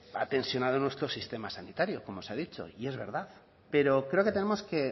ha tensionado nuestro sistema sanitario como se ha dicho y es verdad pero creo que tenemos que